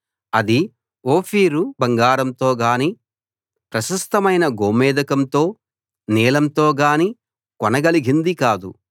అది ఓఫీరు బంగారంతోగానీ ప్రశస్తమైన గోమేధికంతో నీలంతోగానీ కొనగలిగింది కాదు